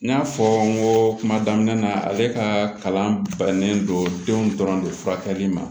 N y'a fɔ n ko kuma daminɛ na ale ka kalan bannen do denw dɔrɔn de furakɛli ma